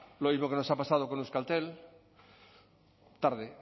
lo mismo que nos ha pasado con euskaltel tarde